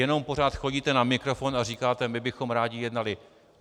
Jenom pořád chodíte na mikrofon a říkáte "my bychom rádi jednali".